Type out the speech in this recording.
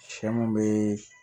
Sɛ mun be